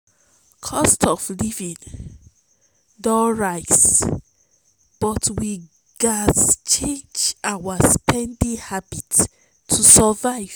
cost of living don rise but we gats change our spending habits to survive.